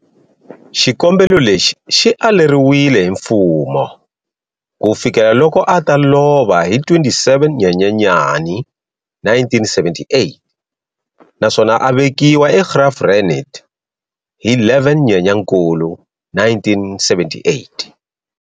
Xikombelo lexi xi aleriwile hi mfumo kufikela loko ata lova hi 27 Nyenyenyani 1978, naswona avekiwa eGraaf-Reinet hi 11 Nyenyankulu 1978.